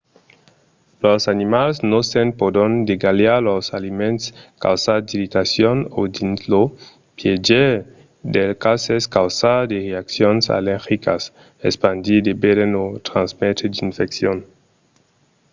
los animals nosents pòdon degalhar los aliments causar d'irritacions o dins lo piéger dels cases causar de reaccions allergicas espandir de veren o transmetre d'infeccions